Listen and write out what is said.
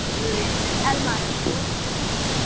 Elmar, er opið í Húsasmiðjunni?